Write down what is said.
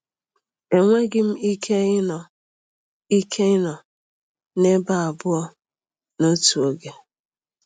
Enweghị m ike ịnọ ike ịnọ n'ebe abụọ a n'otu oge.